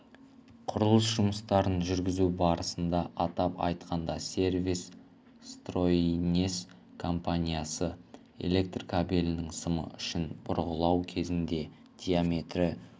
құрылыс жұмыстарын жүргізу барысында атап айтқанда сервисстройинес компаниясы электр кабелінің сымы үшін бұрғылау кезінде диаметрі